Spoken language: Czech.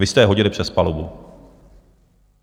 Vy jste je hodili přes palubu.